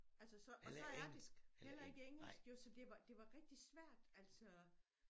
Altså så og så er de heller ikke engelsk jo så det var det var rigtig svært altså